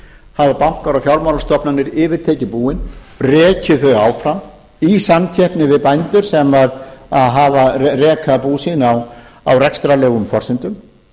hafa bankar og fjármálastofnanir yfirtekið búin rekið þau áfram i samkeppni við bændur sem reka bú sín á rekstrarlegum forsendum